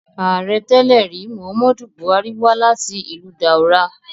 Aarẹ tẹlẹri, Muhammadu Buhari wa lati ilu Daura